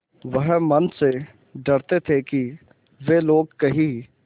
वह मन में डरते थे कि वे लोग कहीं